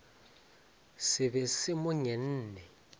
se be se mo ngenne